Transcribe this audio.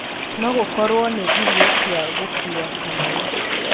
no gūkorūo na irio cia gūkuwa kamau